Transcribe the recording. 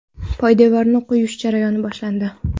Poydevorni quyish jarayoni boshlandi.